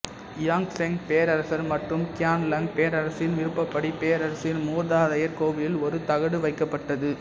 Yongzheng பேரரசர் மற்றும் Qianlong பேரரசரின் விருப்பப்படி பேரரசின் மூதாதையர் கோவிலில் ஒரு தகடு வைக்கப்பட்டது